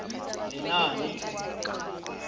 lenaane